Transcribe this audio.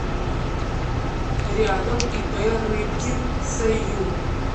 рядом ип рыбкин сю